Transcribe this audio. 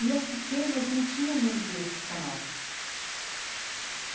E as pequenas não tinham muito esse canal.